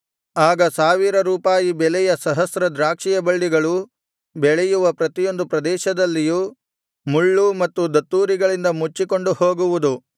ಆಗ ಸಾವಿರ ರೂಪಾಯಿ ಬೆಲೆಯ ಸಹಸ್ರ ದ್ರಾಕ್ಷಿಯ ಬಳ್ಳಿಗಳು ಬೆಳೆಯುವ ಪ್ರತಿಯೊಂದು ಪ್ರದೇಶದಲ್ಲಿಯೂ ಮುಳ್ಳು ಮತ್ತು ದತ್ತೂರಿಗಳಿಂದ ಮುಚ್ಚಿಕೊಂಡು ಹೋಗುವುದು